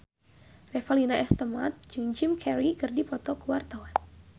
Revalina S. Temat jeung Jim Carey keur dipoto ku wartawan